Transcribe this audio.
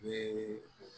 Ni